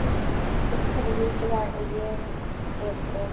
Heilsan er mikilvæg og ég er í góðu formi.